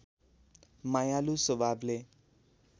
मायालु स्वभावले